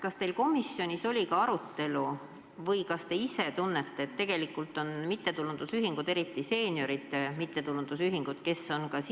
Kas teil komisjonis oli selle üle arutelu või kas te ise arvate, et tegelikult võiks see pikendus hõlmata ka mittetulundusühinguid, eriti seenioride mittetulundusühinguid?